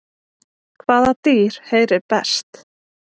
Hvaða dýr heyrir best?